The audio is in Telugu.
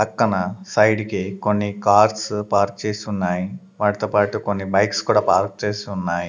పక్కన సైడ్ కి కొన్ని కార్స్ పార్క్ చేసి ఉన్నాయి వాటితో పాటు కొన్ని బైక్స్ కూడా పార్క్ చేసి ఉన్నాయి.